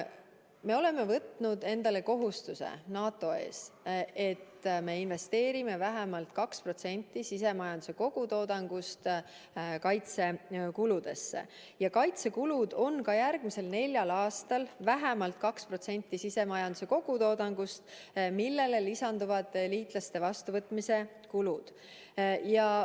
Me oleme võtnud endale kohustuse NATO ees, et me investeerime vähemalt 2% sisemajanduse kogutoodangust kaitsekuludesse ja kaitsekulud on ka järgmisel neljal aastal vähemalt 2% sisemajanduse kogutoodangust, sellele lisanduvad liitlaste vastuvõtmise kulud.